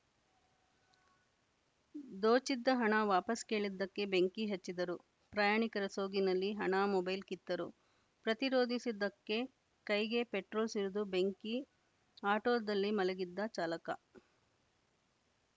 ದೋಚಿದ್ದ ಹಣ ವಾಪಸ್‌ ಕೇಳಿದ್ದಕ್ಕೆ ಬೆಂಕಿ ಹಚ್ಚಿದರು ಪ್ರಯಾಣಿಕರ ಸೋಗಿನಲ್ಲಿ ಹಣ ಮೊಬೈಲ್‌ ಕಿತ್ತರು ಪ್ರತಿರೋಧಿಸಿದ್ದಕ್ಕೆ ಕೈಗೆ ಪೆಟ್ರೋಲ್‌ ಸುರಿದು ಬೆಂಕಿ ಆಟೋದಲ್ಲಿ ಮಲಗಿದ್ದ ಚಾಲಕ